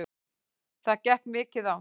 Það gekk mikið á.